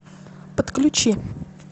подключи